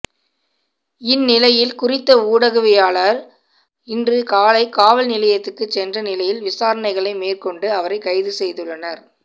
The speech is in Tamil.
இந்நிலையில் குறித்த ஊடகவியலாளர் இன்று காலை காவல் நிலையத்துக்கு சென்ற நிலையில் விசாரணைகளை மேற்கொண்டு அவரை கைதுசெய்துள்ளனர்